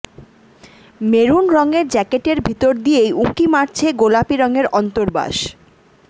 maroon রঙের জ্যাকেটের ভিতর দিয়েই উঁকি মারছে গোলাপী রঙের অন্তর্বাস